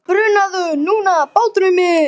Bruna þú nú, bátur minn.